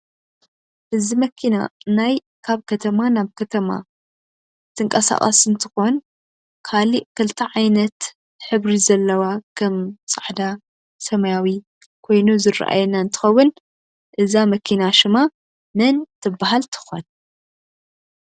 እዚ መኪና ናይ ካብ ከተማ ናብ ከተማትንቃሳቀስ ትኮን ከላእ ክልተ ዓይነት ሕብሪ ዘላ ክም ፃዕዳ፣ ሰማያዊ ኮይኑ ዝርአየና እንትከውን እዛ መኪናሽማ መን ትብሃል ትኮን?